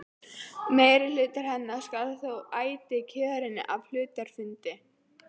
Meirihluti hennar skal þó ætíð kjörinn af hluthafafundi.